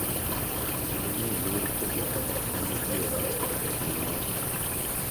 Kendo miyo luor pogruok ma nitie e kind ng’ato ka ng’ato,